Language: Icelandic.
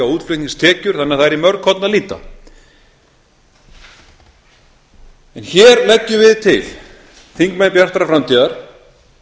útflutningstekjur þannig að það er í mörg horn að líta en hér leggjum við til þingmenn bjartrar framtíðar